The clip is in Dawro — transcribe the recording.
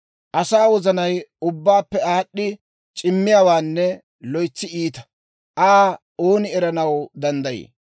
«Asaa wozanay ubbabaappe aad'd'i c'immiyaawaanne loytsi iita. Aa ooni eranaw danddayii?